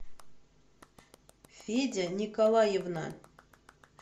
федя николаевна